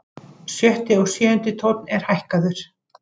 Sjötti og sjöundi tónn er hækkaður.